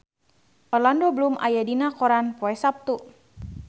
Orlando Bloom aya dina koran poe Saptu